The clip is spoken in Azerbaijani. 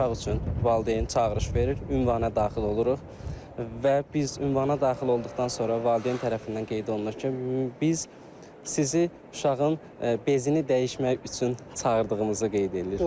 uşaq üçün valideyn çağırış verir, ünvana daxil oluruq və biz ünvana daxil olduqdan sonra valideyn tərəfindən qeyd olunur ki, biz sizi uşağın bezini dəyişmək üçün çağırdığımızı qeyd eləyirik.